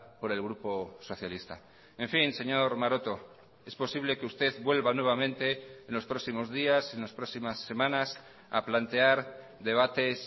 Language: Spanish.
por el grupo socialista en fin señor maroto es posible que usted vuelva nuevamente en los próximos días en las próximas semanas a plantear debates